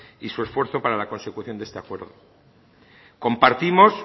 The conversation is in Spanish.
y su esfuerzo para la consecución de este acuerdo compartimos